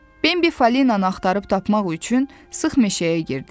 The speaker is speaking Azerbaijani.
Benbi Fəlinanı axtarıb tapmaq üçün sıx meşəyə girdi.